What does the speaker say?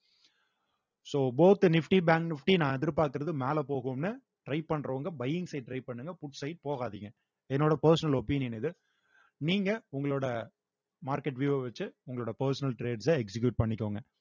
so both nifty bank nifty நான் எதிர்பாக்கறது மேல போகும்ன்னு try பண்றவங்க buying side try பண்ணுங்க side போகாதீங்க என்னோட personal opinion இது நீங்க உங்களோட market view அ வச்சு உங்களோட personal trades அ execute பண்ணிக்கோங்க